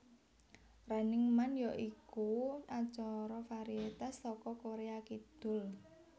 Running Man ya iku acara varietas saka Korea Kidul